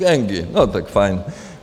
Gengy, no tak fajn.